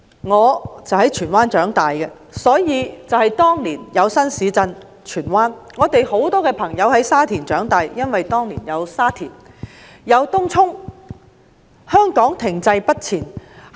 我在荃灣區長大，正值當年有荃灣新市鎮的規劃；我有很多朋友在沙田長大，因為當年有沙田新市鎮的發展。